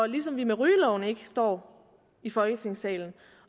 ligesom vi med rygeloven ikke står i folketingssalen